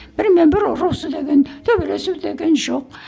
бірімен бірі ұрысу деген төбелесу деген жоқ